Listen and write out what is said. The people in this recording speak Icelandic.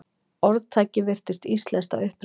Orðtakið virðist íslenskt að uppruna.